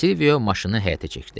Silvio maşını həyətə çəkdi.